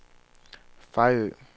Fejø